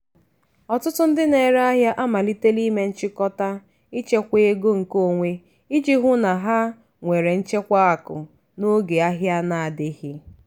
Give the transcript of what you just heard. ọtụtụ ndị na-ere ahịa amalitela ime nchikota ịchekwa ego nkeonwe iji hụ na ha nwere nchekwa akụ n'oge ahia na-adịghị.